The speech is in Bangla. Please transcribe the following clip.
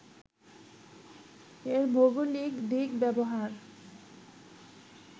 এর ভৌগলিক দিক ব্যবহার